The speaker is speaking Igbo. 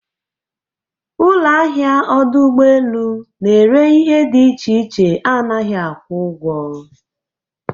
Ụlọ ahịa ọdụ ụgbọ elu na-ere ihe dị iche iche anaghị akwụ ụgwọ.